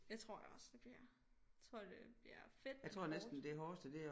Det tror jeg også det bliver tror det bliver fedt men hårdt